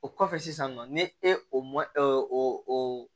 O kɔfɛ sisan nɔ ni e m'o o